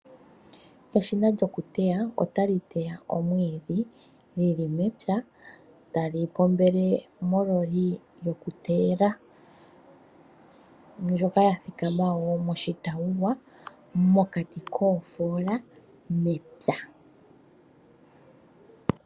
Eshina lyokuteya otali teya omwiidhi li li mepya tali pombele mololi yokuteyela ndjoka ya thikama wo moshitawuwa mokati koofoola mepya.